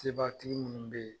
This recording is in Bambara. Sebatigi minnu bɛ ye.